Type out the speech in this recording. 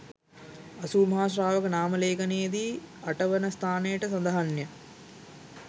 අසූමහා ශ්‍රාවක නාම ලේඛනයේ දී 8 වන ස්ථානයට සඳහන් ය.